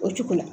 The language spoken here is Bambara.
O cogo la